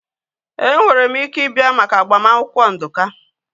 Enwere m ike ị bịa maka agbamakwụkwọ Nduka